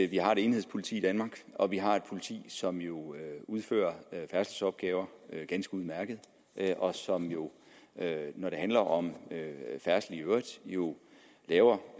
vi har et enhedspoliti i danmark og at vi har et politi som jo udfører færdselsopgaver ganske udmærket og som jo når det handler om færdsel i øvrigt laver